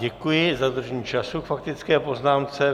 Děkuji za dodržení času k faktické poznámce.